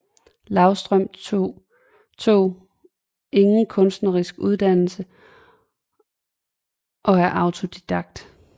Løvstrøm tog ingen kunstnerisk uddannelse og er autodidakt